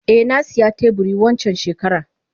Eh nasiya teburi wancan shekaran.